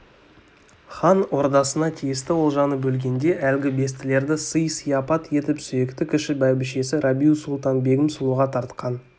хан ордасына тиісті олжаны бөлгенде әлгі бестілерді сый-сияпат етіп сүйікті кіші бәйбішесі рабиу-сұлтан-бегім сұлуға тартқан